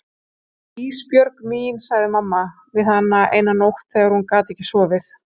Ísbjörg mín, sagði mamma við hana eina nótt þegar hún gat ekki sofið.